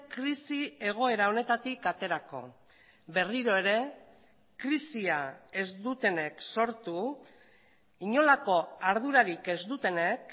krisi egoera honetatik aterako berriro ere krisia ez dutenek sortu inolako ardurarik ez dutenek